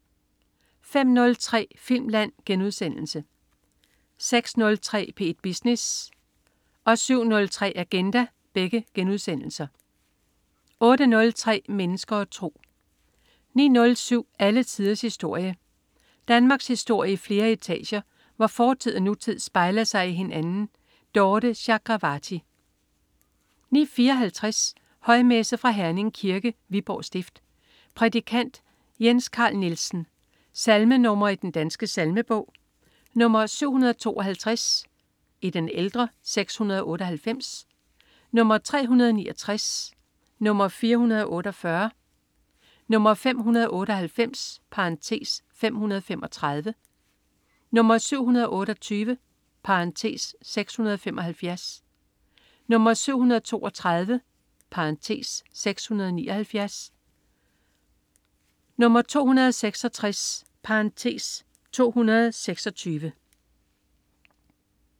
05.03 Filmland* 06.03 P1 Business* 07.03 Agenda* 08.03 Mennesker og tro 09.07 Alle tiders historie. Danmarkshistorie i flere etager, hvor fortid og nutid spejler sig i hinanden. Dorthe Chakravarty 09.54 Højmesse. Fra Herning Kirke, Viborg Stift. Prædikant: Jens Carl Nielsen: Salmer nr. 752 (698) 369 448 598 (535) 728 (675) 732 (679) 266 (226)